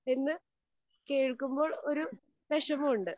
എന്ന് കേൾക്കുമ്പോൾ ഒരു വെഷമമുണ്ട്.